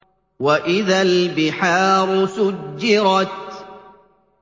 وَإِذَا الْبِحَارُ سُجِّرَتْ